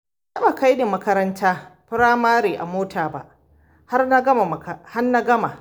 Ba a taɓa kaini makarantar Firamare a mota ba har na gama.